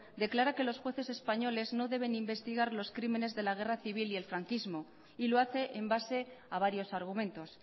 declara que los jueces españoles no deben investigar los crímenes de la guerra civil y el franquismo y lo hace en base a varios argumentos